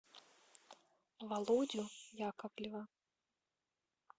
володю яковлева